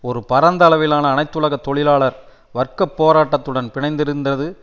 ஒரு பரந்த அளவிலான அனைத்துலக தொழிலாளர் வர்க்க போராட்டத்துடன் பிணைந்திருந்தது